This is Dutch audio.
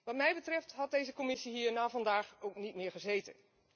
Wat mij betreft had deze Commissie hier na vandaag ook niet meer gezeten.